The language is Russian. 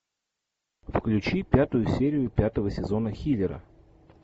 включи пятую серию пятого сезона хилера